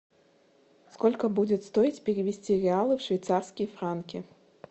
сколько будет стоить перевести реалы в швейцарские франки